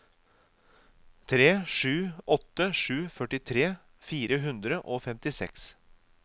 tre sju åtte sju førtitre fire hundre og femtiseks